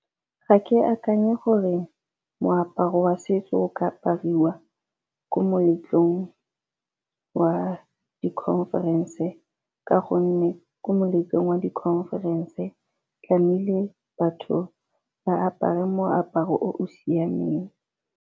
Ga ke akanye gore moaparo wa setso o ka apariwa ko moletlong wa di-conference ka gonne ko moletlong wa di-conference tlamehile batho ba apare moaparo o o siameng.